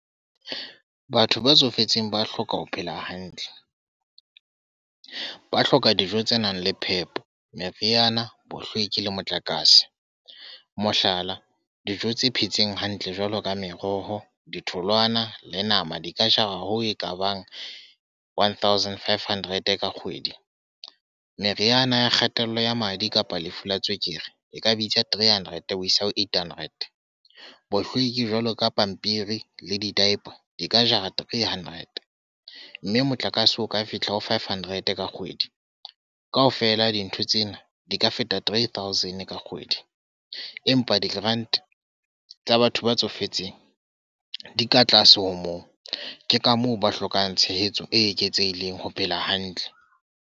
Batho ba tsofetseng ba hloka ho phela hantle. Ba hloka dijo tse nang le phepo, meriana, bohlweki le motlakase. Mohlala, dijo tse phetseng hantle jwalo ka meroho, ditholwana le nama. Di ka jara ho ekabang one thousand five hundred ka kgwedi. Meriana ya kgatello ya madi kapa lefu la tswekere e ka bitsa three hundred ho isa ho eight hundred. Bohlweki jwaloka pampiri le di-diaper, di ka jara three hundred. Mme motlakase o ka fihla ho five hundred ka kgwedi. Kaofela dintho tsena di ka feta three thousand ka kgwedi. Empa di-grand tsa batho ba tsofetseng, di ka tlase ho moo. Ke ka moo ba hlokang tshehetso e eketsehileng ho phela hantle.